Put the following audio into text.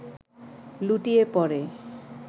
লুটিয়ে পড়ে